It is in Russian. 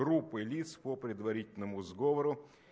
группы лиц по предварительному сговору